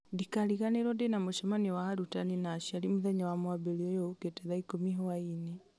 ndikariganĩrwo ndĩna mũcemanio wa arutani na aciari mũthenya wa mwambĩrĩrio ũyũ ũkĩte thaa ikũmi hwaĩ-inĩ